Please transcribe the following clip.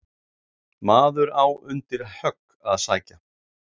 Maður á undir högg að sækja.